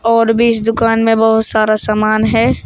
और भी इस दुकान में बहुत सारा सामान है।